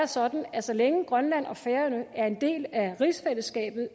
sådan at så længe grønland og færøerne er en del af rigsfællesskabet